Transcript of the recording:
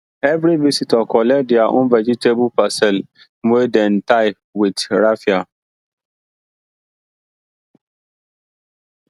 every visitor collect their own vegetable parcel wey dem tie with raffia